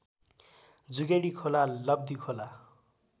Jugedi Khola Labdhikhola